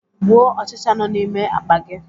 Gbuo ọchịcha nọ n'ime akpa gi!